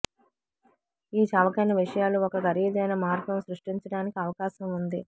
ఈ చవకైన విషయాలు ఒక ఖరీదైన మార్గం సృష్టించడానికి అవకాశం ఉంది